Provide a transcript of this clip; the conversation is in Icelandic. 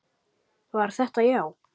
Var þetta já?